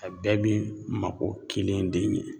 A bɛɛ bi mako kelen de ɲɛ